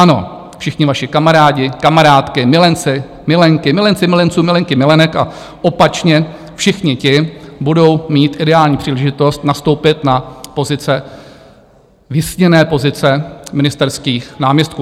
Ano, všichni vaši kamarádi, kamarádky, milenci, milenky, milenci milenců, milenky milenek a opačně, všichni ti budou mít ideální příležitost nastoupit na pozice, vysněné pozice ministerských náměstků.